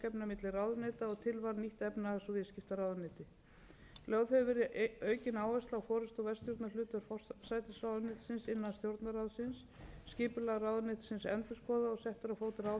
efnahags og viðskiptaráðuneyti lögð hefur verið aukin áhersla á forustu og verkstjórnarhlutverk forsætisráðuneytisins innan stjórnarráðsins skipulag ráðuneytisins endurskoðað og settar á fót ráðherranefndir til að samræma stefnu